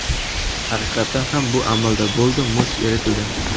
Haqiqatan ham bu amalda bo‘ldi muz eritildi.